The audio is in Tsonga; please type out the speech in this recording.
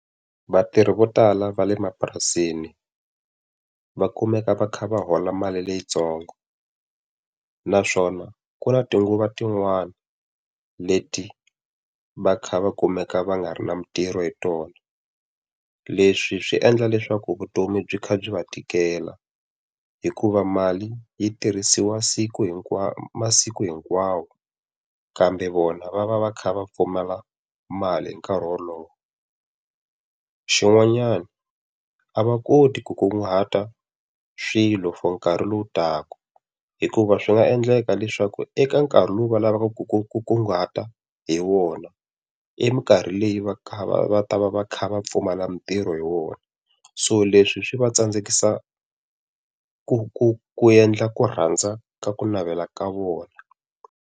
Vatirhi vo tala va le mapurasini va kumeka va kha va hola mali leyintsongo. Naswona ku na tinguva tin'wana leti va kha va kumeka va nga ri na mintirho hi tona. Leswi swi endla leswaku vutomi byi kha byi va tikela, hikuva mali yi tirhisiwa siku masiku hinkwawo, kambe vona va va va kha va pfumala mali hi nkarhi wolowo. Xin'wanyana a va koti ku kunguhata swilo for nkarhi lowu taka, hikuva swi nga endleka leswaku eka nkarhi lowu va lavaka ku ku kunguhata hi wona, eminkarhi leyi va kha va va ta va va kha va pfumala mintirho hi wona. So leswi swi va tsandzekisa ku ku ku endla ku rhandza ka ku navela ka vona.